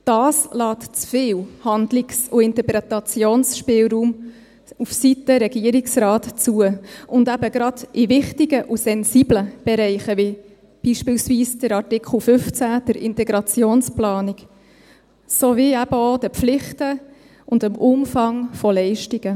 Das lässt zu viel Handlungs- und Interpretationsspielraum aufseiten Regierungsrat zu, und eben gerade in wichtigen und sensiblen Bereichen, wie beispielsweise bei Artikel 15, der Integrationsplanung, sowie eben auch den Pflichten und dem Umfang von Leistungen.